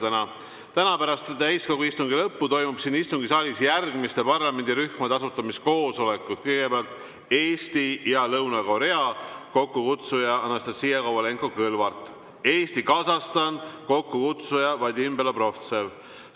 Täna pärast täiskogu istungi lõppu toimuvad siin istungisaalis järgmiste parlamendirühmade asutamiskoosolekud: Eesti ja Korea Vabariik, kokkukutsuja Anastassia Kovalenko-Kõlvart; Eesti-Kasahstan, kokkukutsuja Vadim Belobrovtsev.